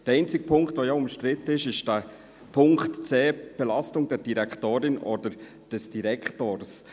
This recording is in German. Der einzige Punkt, der umstritten ist, ist der Punkt c, «Belastung der Direktorin oder des Direktors».